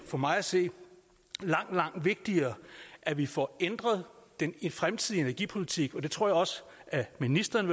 for mig at se langt langt vigtigere at vi får ændret den fremtidige energipolitik og det tror jeg også ministeren